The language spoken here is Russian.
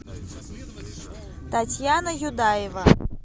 татьяна юдаева